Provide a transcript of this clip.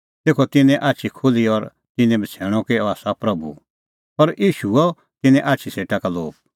तेखअ तिन्नें आछी खुल्ही और तिन्नैं बछ़ैणअ कि अह आसा प्रभू पर ईशू हुअ तिन्नें आछी सेटा का लोप